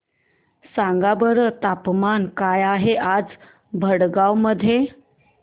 सांगा बरं तापमान काय आहे आज भडगांव मध्ये